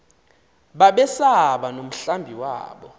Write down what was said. babesaba nomhlambi wabo